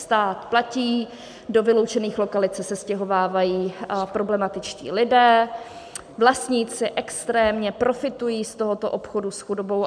Stát platí, do vyloučených lokalit se sestěhovávají problematičtí lidé, vlastníci extrémně profitují z tohoto obchodu s chudobou.